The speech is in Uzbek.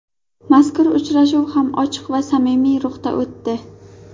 Mazkur uchrashuv ham ochiq va samimiy ruhda o‘tdi.